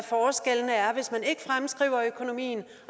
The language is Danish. fremskrive økonomien